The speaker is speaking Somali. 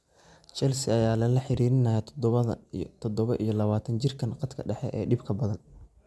Chelsea ayaa lala xiriirinayaa todobaa iyo lawataan jirkan khadka dhexe ee dhibka badan.